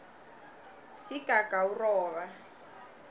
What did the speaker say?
sigagawuroba